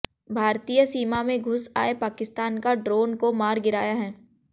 भारतीय सीमा में घुस आए पाकिस्तान का ड्रोन को मार गिराया है